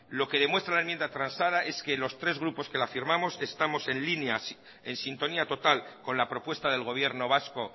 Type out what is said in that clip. lo que demuestra la enmienda transada es que los tres grupos que la firmamos estamos en línea en sintonía total con la propuesta del gobierno vasco